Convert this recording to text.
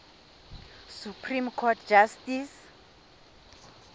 supreme court justice